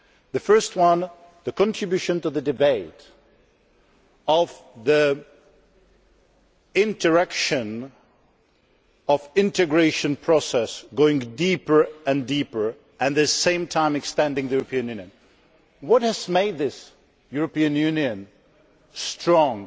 The first one is the contribution to the debate of the interaction of the integration process, going deeper and deeper and, at the same time, extending the European Union. What has made this European Union big and strong?